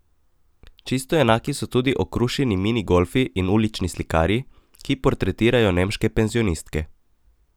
Čisto enaki so tudi okrušeni mini golfi in ulični slikarji, ki portretirajo nemške penzionistke.